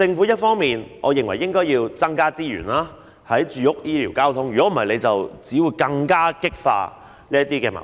因此，我認為政府應增加住屋、醫療和交通的資源，否則只會更加激化矛盾。